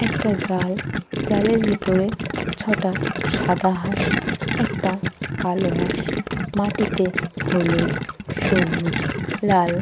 একটা জাল। জালের ভিতরে ছটা সাদা হাঁস একটা কালো হাঁস। মাটিতে হলুদ সবুজ লাল --